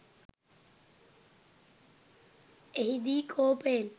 එහිදී කෝපයෙන්